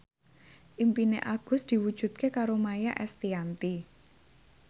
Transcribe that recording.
impine Agus diwujudke karo Maia Estianty